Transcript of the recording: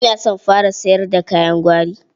Kina son fara yasar da kayan gwari?